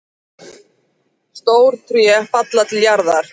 Stór tré falla til jarðar.